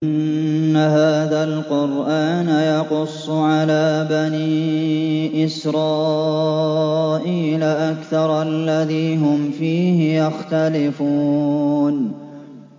إِنَّ هَٰذَا الْقُرْآنَ يَقُصُّ عَلَىٰ بَنِي إِسْرَائِيلَ أَكْثَرَ الَّذِي هُمْ فِيهِ يَخْتَلِفُونَ